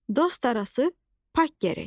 Dost arası pak gərək.